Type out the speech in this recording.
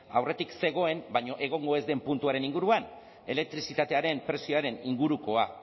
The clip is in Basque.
aurretik zegoen baina egongo ez den puntuaren inguruan elektrizitatearen prezioaren ingurukoa